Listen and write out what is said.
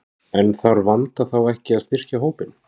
En þarf Vanda þá ekki að styrkja hópinn?